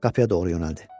Qapıya doğru yönəldi.